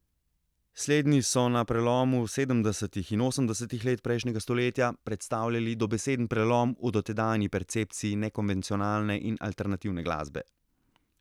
Slednji so na prelomu sedemdesetih in osemdesetih let prejšnjega stoletja predstavljali dobeseden prelom v dotedanji percepciji nekonvencionalne in alternativne glasbe.